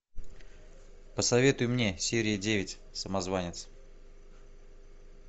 посоветуй мне серия девять самозванец